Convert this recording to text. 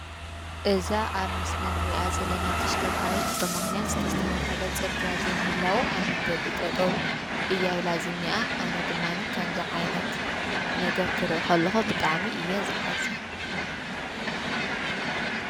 እዛ ኣብ ምስልን ርኣ ዘለና ተሽከርካት ብመኽንያት ተስተሓኸለ ጽርግያ ዘይምህላዉ ኣብ መንገዲ ጠጦብ ኢያይ ላ ዝኒኣ ኣነ ድማኒ ከምዛ ዓይነት ነገር ክርእኸለኾ ብጣዓሚ እየ ዝሓዘ።